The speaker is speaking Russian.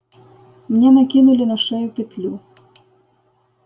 мне накинули на шею петлю